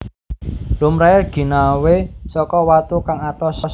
Lumrahé ginawé saka watu kang atos